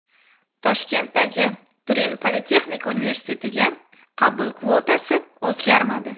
Toshkentdagi Turin politexnika universitetiga qabul kvotasi o‘zgarmadi.